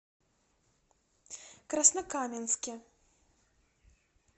краснокаменске